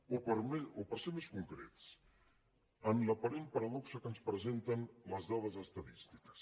o per ser més concrets en l’aparent paradoxa que ens presenten les dades estadístiques